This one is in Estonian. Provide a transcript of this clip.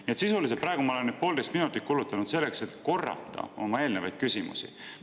Nii et sisuliselt olen ma praegu need poolteist minutit kulutanud selleks, et korrata oma eelnevaid küsimusi.